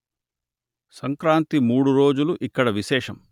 సంక్రాంతి మూడు రోజులు ఇక్కడ విశేషం